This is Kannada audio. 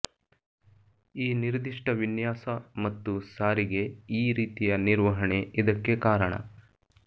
ಈ ನಿರ್ದಿಷ್ಟ ವಿನ್ಯಾಸ ಮತ್ತು ಸಾರಿಗೆ ಈ ರೀತಿಯ ನಿರ್ವಹಣಾ ಇದಕ್ಕೆ ಕಾರಣ